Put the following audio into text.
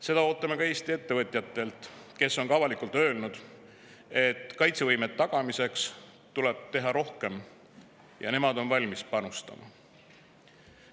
Seda ootame ka Eesti ettevõtjatelt, kes on avalikult öelnud, et kaitsevõime tagamiseks tuleb teha rohkem ja nemad on valmis panustama.